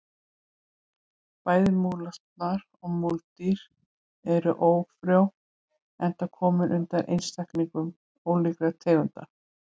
Bæði múlasnar og múldýr eru ófrjó enda komin undan einstaklingum ólíkra tegunda.